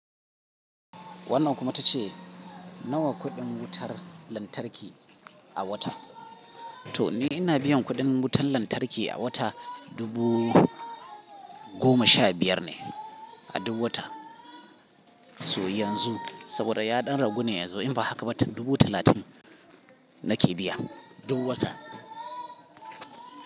Wannan kuma ta ce nawa kuɗin wutar lantarki a wata? To ni ina biyan kuɗin wutar lantarki a wata dubu goma sha biyar ne a duk wata. So yanzu saboda yaɗan ragu ne ya zo in ba haka ba dubu talatin nake biya duk wata.